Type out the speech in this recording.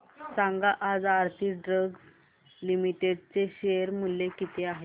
सांगा आज Aarti drugs limited चे शेअर मूल्य किती आहे